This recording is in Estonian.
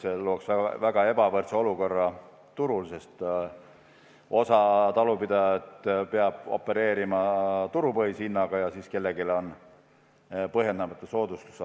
See looks väga ebavõrdse olukorra turul, sest osa talupidajaid peab opereerima turupõhise hinnaga, osal aga oleks põhjendamatu soodustus.